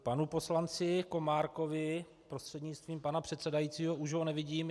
Panu poslanci Komárkovi prostřednictvím pana předsedajícího - už ho nevidím.